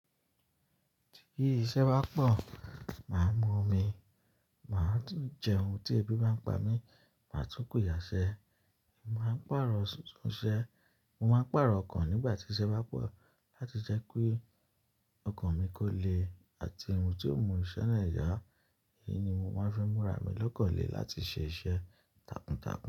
Tí iṣẹ́ bá pọ̀, mà á mu omi, mà á tún jẹun. Tí ebi bá ń pa mí, mà á tún kù yàṣẹ́. Mọ máa ń pàrọ̀ sí sun iṣẹ́, mo máa ń pàrọ̀ ọkan nígbà tí iṣẹ́ bá pọ̀ láti jẹ́ pé ọkan mi kò le àti ohùn tí ó mú iṣẹ́ náà yá. Èyí ni mọ máa ń fẹ́ múra mi lọ́kàn lẹ láti ṣe iṣẹ́ takuntakun.